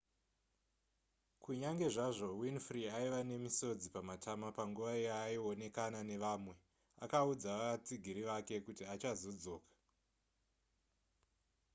kunyange zvazvo winfrey aiva nemisodzi pamatama panguva yaaionekana nevamwe akaudza vatsigiri vake kuti achazodzoka